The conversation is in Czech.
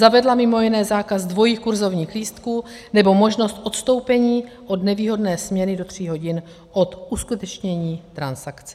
Zavedla mimo jiné zákaz dvojích kurzovních lístků nebo možnost odstoupení od nevýhodné směny do tří hodin od uskutečnění transakce.